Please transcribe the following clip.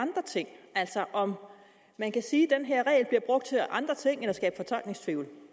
andre ting altså om man kan sige at den her regel bliver brugt til andre ting at skabe fortolkningstvivl